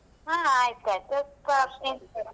ಹಾ ಆಯ್ತಾಯ್ತು .